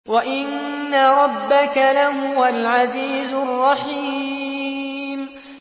وَإِنَّ رَبَّكَ لَهُوَ الْعَزِيزُ الرَّحِيمُ